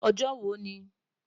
Ojo wo ni?